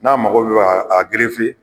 N'a mago bɛ a